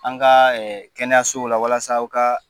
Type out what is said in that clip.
An ka kɛnɛyasow la walasa aw ka